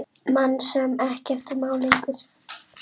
Mann sem ekkert má lengur.